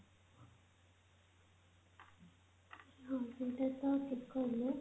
ହଁ ସେଇଟା ତ ଠିକ କହିଲ